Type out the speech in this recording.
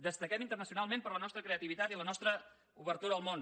destaquem internacionalment per la nostra creativitat i la nostra obertura al món